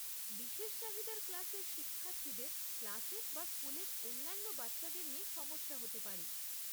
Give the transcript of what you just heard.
বিশেষ চাহিদার ক্লাসের শিক্ষার্থীরদের ক্লাসের বা স্কুলের অন্যান্য বাচ্চাদের নিয়ে সমস্যা হতে পারে।